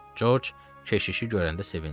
Corc keşişi görəndə sevindi.